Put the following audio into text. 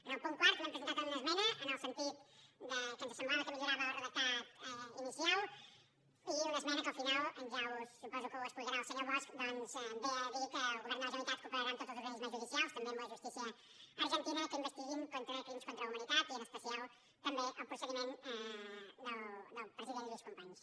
en el punt quart també hem presentat una esmena en el sentit que ens semblava que millorava el redactat inicial i una esmena que al final suposo que ja ho explicarà el senyor bosch ve a dir que el govern de la generalitat cooperarà amb tots els organismes judicials també amb la justícia argentina que investiguin crims contra la humanitat i en especial també el procediment del president lluís companys